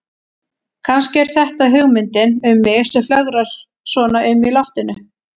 Kannski er þetta hugmyndin um mig sem flögrar svona um í loftinu.